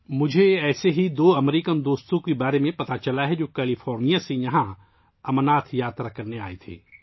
مجھے ایسے ہی دو امریکی دوستوں کے بارے میں معلوم ہوا ہے ، جو کیلیفورنیا سے یہاں امرناتھ یاترا کرنے آئے تھے